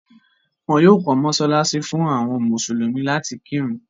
wọ́n yóò kọ́ mọsálásí fún àwọn mùsùlùmí láti kírun.